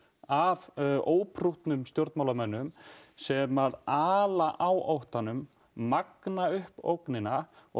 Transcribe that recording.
af óprúttnum stjórnmálamönnum sem ala á óttanum magna upp ógnina og